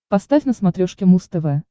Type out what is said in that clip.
поставь на смотрешке муз тв